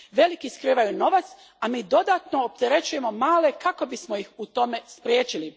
Veliki skrivaju novac, a mi dodatno opterećujemo male kako bismo ih u tome spriječili.